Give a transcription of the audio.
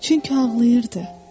Çünki ağlayırdı.